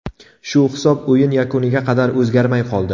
Shu hisob o‘yin yakuniga qadar o‘zgarmay qoldi.